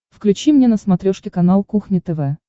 включи мне на смотрешке канал кухня тв